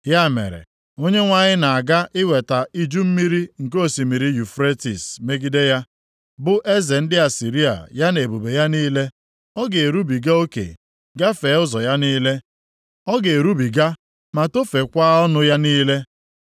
ya mere, Onyenwe anyị na-aga iweta iju mmiri nke osimiri Yufretis megide ha, bụ eze ndị Asịrịa ya na ebube ya niile. Ọ ga-erubiga oke, gafee ụzọ ya niile, ọ ga-erubiga ma tofeekwa ọnụ ya niile,